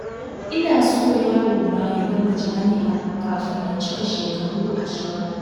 Ina so yarona ya gama jami'a kafin ya cika shekaru ashirin.